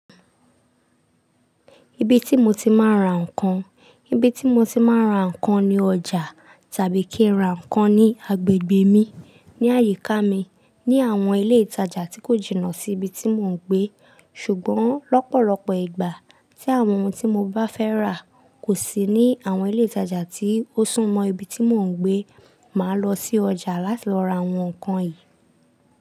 Ibi tí mo ti máa ń ra ǹkan, ibi tí mo ti máa ń ra ǹkan ni ọjà tàbí kí n ra ǹkan ní agbègbè mi, ní àyíká mi, ní àwọn ilé ìtajà tí kò jìnnà sí ibi tí mò ń gbé. Ṣùgbọ́n lọ́pọ̀lọpọ̀ ìgbà tí àwọn ohun tí mo bá fẹ́ rà kò sí ní àwọn ilé ìtajà tí ó sún mọ́ ibi tí mò ń gbé, màá lọ sí ọjà láti lọ ra àwọn ǹkan yìí.